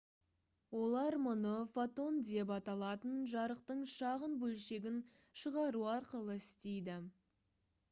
олар мұны «фотон» деп аталатын жарықтың шағын бөлшегін шығару арқылы істейді